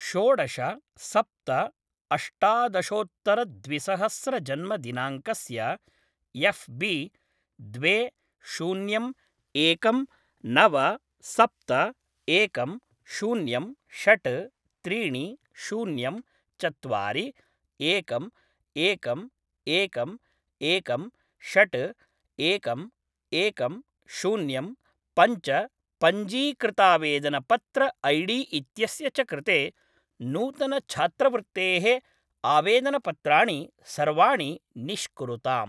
षोडश सप्त अष्टादशोत्तर द्वि सहस्र जन्मदिनाङ्कस्य एफ् बी द्वे शून्यं एकं नव सप्त एकं शून्यं षट् त्रीणि शून्यं चत्वारि एकम् एकम् एकम् एकं षट् एकम् एकं शून्यं पञ्च पञ्जीकृतावेदनपत्र ऐडी इत्यस्य च कृते नूतनछात्रवृत्तेः आवेदनपत्राणि सर्वाणि निष्कुरुताम्।